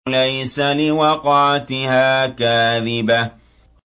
لَيْسَ لِوَقْعَتِهَا كَاذِبَةٌ